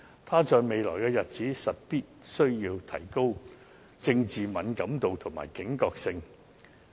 她在未來日子實在必須提高政治敏感度及警覺性。